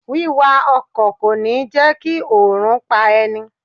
Wíwa ọkọ̀ kò ní jẹ́ kí oòrùn pá ẹni.